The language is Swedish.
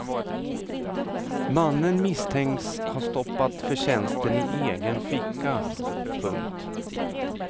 Mannen misstänks ha stoppat förtjänsten i egen ficka. punkt